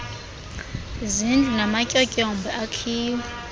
zizindlu namatyotyombe akhiwe